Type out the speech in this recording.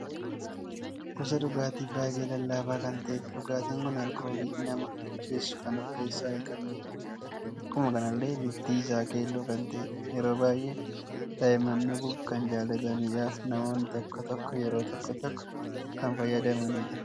Gosa dhugaatii baay'ee lallaafa kan ta'edha. dhugaatiin kun alkoolii nama macheessu kan of keessa hin qabnedha. Akkuma kanallee bifti isaa keelloo kan ta'edha. Yeroo baay'ee daa'imman dhuguuf kan jaallatanii fi namoonni tokko, tokko yeroo tokko, tokko kan fayyadamanidha.